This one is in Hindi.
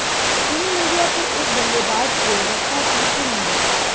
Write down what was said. टीम इंडिया के इस बल्लेबाज को रखा तीसरे नंबर